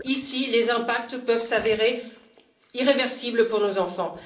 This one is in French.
Ici, les impacts peuvent s'avérer irréversibles pour nos enfants.